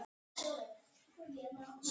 Halinn var tæplega helmingur af lengd dýrsins.